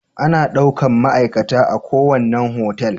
Ana daukan ma'aikata a kuwanna hotel